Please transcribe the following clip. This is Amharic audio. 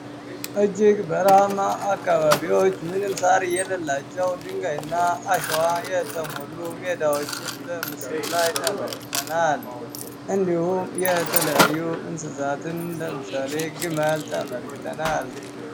እጅግ በረሃ አካባቢዎች ምንም ሳር የሌላቸው ድንጋይ እና አሸዋ የተሞሉ ሜዳዎችን በምስሉላይ ተመልክናነል። እንዲሁም የተለያዩ እንስሳትን ለምሳሌ ግመል ተመልክተናል።